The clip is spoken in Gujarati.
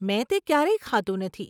મેં તે ક્યારેય ખાધું નથી.